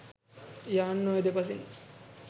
යාන් ඔය දෙපසින්